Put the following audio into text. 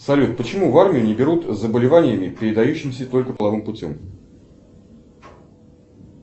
салют почему в армию не берут с заболеваниями передающимися только половым путем